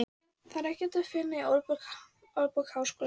Það er ekki að finna í Orðabók Háskólans.